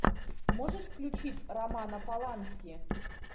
можешь включить романа полански